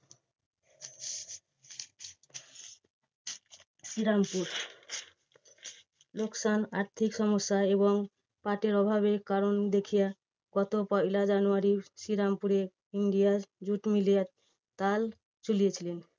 শ্রীরামপুর লোকসান আর্থিক সমস্যা এবং পাটে অভাবের কারণ দেখিয়া গত পয়লা জানুয়ারী শ্রীরামপুরে India র jute mill এর তালা খুলিয়েছিলেন।